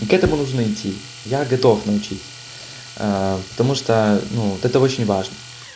ну к этому нужно идти я готов научить потому что это ну очень важно